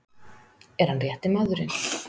Er hann rétti maðurinn?